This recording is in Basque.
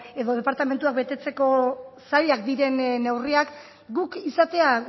edo departamentuak betetzeko zailak diren neurriak guk izatea